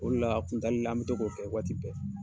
O le la a kun tali la an bɛ to k'o kɛ waati bɛɛ.